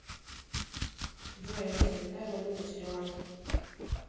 джой алиса какая валюта в шри ланке